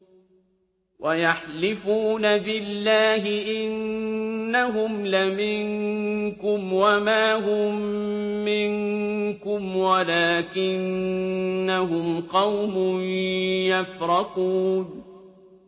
وَيَحْلِفُونَ بِاللَّهِ إِنَّهُمْ لَمِنكُمْ وَمَا هُم مِّنكُمْ وَلَٰكِنَّهُمْ قَوْمٌ يَفْرَقُونَ